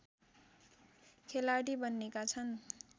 खेलाडी बन्नेका छन्